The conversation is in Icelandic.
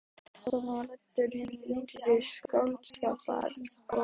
Þarna var ræddur hinn nýrri skáldskapur og pólitík.